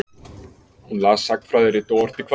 Hún las sagnfræðirit og orti kvæði.